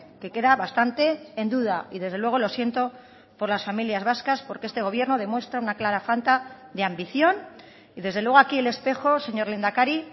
que queda bastante en duda y desde luego lo siento por las familias vascas porque este gobierno demuestra una clara falta de ambición y desde luego aquí el espejo señor lehendakari